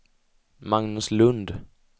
Magnus Lund